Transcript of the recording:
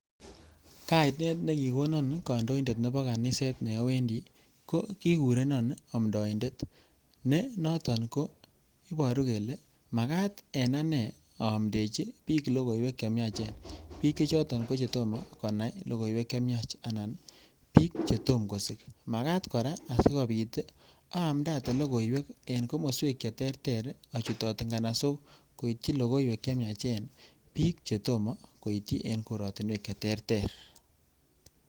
kainet nekikonan kandoindet nepo kaniseet ko amndaindeet kora kotomaa koitchi piik cheter ter